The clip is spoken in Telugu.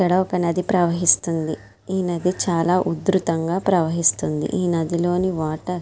ఇక్కడ ఒక నది ప్రవహిస్తుంది. ఈ నది చాలా వధృతంగా ప్రవహిస్తుంది. ఈ నదిలోని వాటర్ --